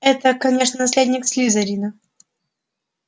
это конечно наследник слизерина